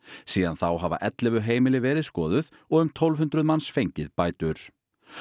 síðan þá hafa ellefu heimili verið skoðuð og um tólf hundruð manns fengið bætur